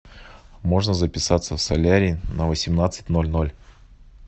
можно записаться в солярий на восемнадцать ноль ноль